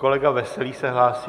Kolega Veselý se hlásí.